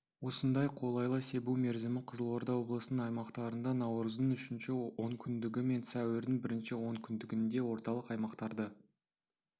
осындай қолайлы себу мерзімі қызылорда облысының аймақтарында наурыздың үшінші онкүндігі мен сәуірдің бірінші онкүндігінде орталық аймақтарда